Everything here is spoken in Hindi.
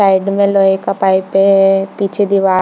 साइड में लोहै का पाइप है पीछे दीवाल --